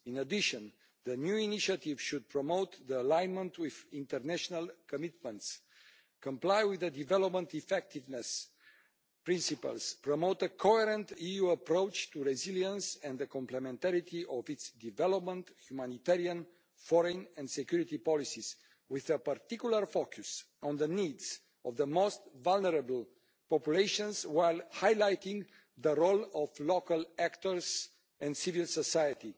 In addition, the new initiative should promote alignment with international commitments, comply with development effectiveness principles, promote a coherent EU approach to resilience and the complementarity of EU development, humanitarian, foreign and security policies, with a particular focus on the needs of the most vulnerable populations while highlighting the role of local actors and civil society.